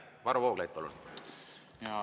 Varro Vooglaid, palun!